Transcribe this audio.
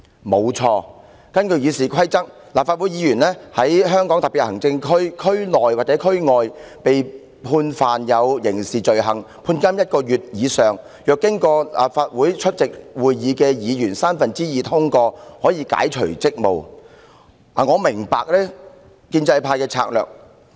沒錯，根據《議事規則》，立法會議員在香港特別行政區區內或區外被判刑事罪名成立而被判監1個月以上，若經立法會三分之二出席會議的議員通過有關動議，便可解除其立法會議員職務。